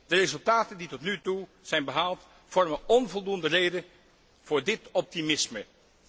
De resultaten die tot nu toe zijn behaald vormen onvoldoende reden voor dit optimisme.